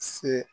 Se